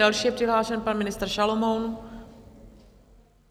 Další je přihlášen pan ministr Šalomoun.